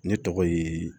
Ne tɔgɔ ye